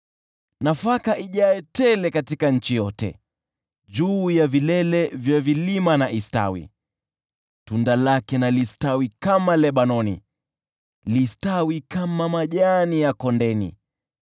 Nafaka ijae tele katika nchi yote, juu ya vilele vya vilima na istawi. Tunda lake na listawi kama Lebanoni, listawi kama majani ya kondeni.